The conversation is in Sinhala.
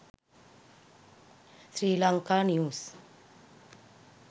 sri lanka news